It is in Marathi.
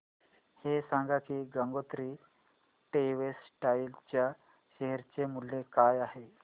हे सांगा की गंगोत्री टेक्स्टाइल च्या शेअर चे मूल्य काय आहे